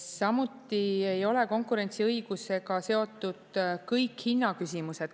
Samuti ei ole konkurentsiõigusega seotud kõik hinnaküsimused.